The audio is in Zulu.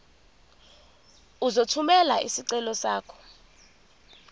uzothumela isicelo sakho